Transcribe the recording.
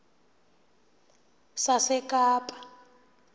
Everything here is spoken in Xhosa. sasekapa